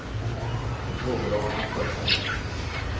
Jag frågade om han sett den.